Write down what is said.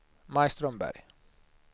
Maj Strömberg